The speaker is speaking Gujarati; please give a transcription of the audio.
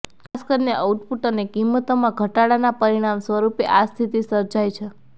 ખાસ કરીને આઉટપુટ અને કિંમતોમાં ઘટાડાના પરિણામ સ્વરુપે આ સ્થિતિ સર્જાઈ છે